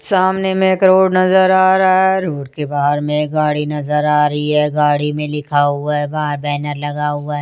सामने में एक रोड नजर आ रहा है रोड के बाहर में एक गाड़ी नजर आ रही है गाड़ी में लिखा हुआ है बाहर बैनर लगा हुआ है।